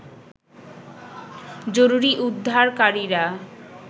জরুরী উদ্ধারকারীরা